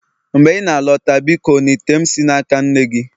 mgbe ị na-alọta biko na ite m si n'aka nne gị